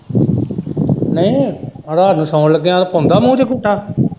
ਨਈ ਰਾਤ ਨੂੰ ਸੌਣ ਲੱਗਿਆ ਪਾਉਂਦਾ ਮੂੰਹ ਚ ਅੰਗੂਠਾ।